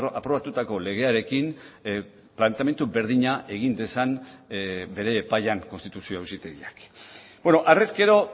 aprobatutako legearekin planteamendu berdina egin dezan bere epaian konstituzio auzitegiak harrezkero